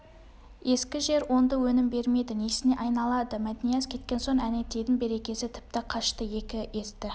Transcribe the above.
ескі жер оңды өнім бермейді несіне айналады мәтнияз кеткен соң әнетейдің берекесі тіпті қашты екі есті